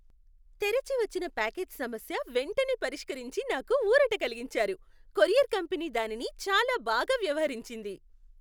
తెరిచి వచ్చిన ప్యాకేజ్ సమస్య వెంటనే పరిష్కరించి నాకు ఊరట కలిగించారు. కొరియర్ కంపెనీ దానిని చాలా బాగా వ్యవహరించింది.